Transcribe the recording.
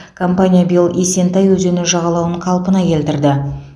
компания биыл есентай өзені жағалауын қалпына келтірді